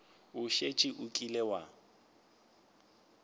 o šetše o kile wa